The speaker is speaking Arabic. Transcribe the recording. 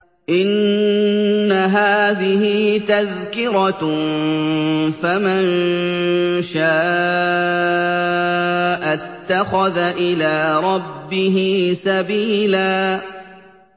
إِنَّ هَٰذِهِ تَذْكِرَةٌ ۖ فَمَن شَاءَ اتَّخَذَ إِلَىٰ رَبِّهِ سَبِيلًا